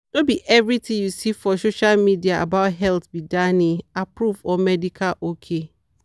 no be everything you see for social media about health be danny-approved or medical ok.